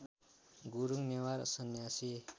Gurung Newar Sanyasi